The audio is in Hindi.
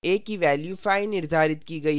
a की value 5 निर्धारित की गयी है